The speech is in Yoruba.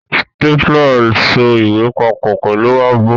Stapler so ìwé papọ̀ pẹ̀lú ààbò.